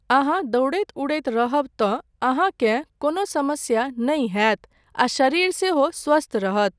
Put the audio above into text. अहाँ दौड़ैत उड़ैत रहब तँ अहाँकेँ कोनो समस्या नहि होयत आ शरीर सेहो स्वस्थ रहत।